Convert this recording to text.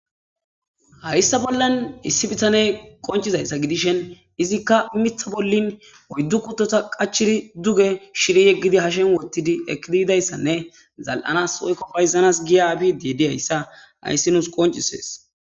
hayyssa bollan issi bitaney qoncizayssa gidishen izikka mitha bollin oyddu kuttota qachiri duge shiri yeggidi hashen wottidi ekidi idayssanne zal7anas oyko payzanas giya abidediyayssa hayssi nuus qoncisees